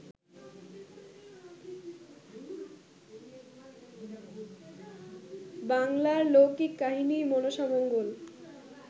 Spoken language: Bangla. বাংলার লৌকিক কাহিনী ‘মনসামঙ্গল’